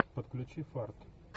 подключи фарт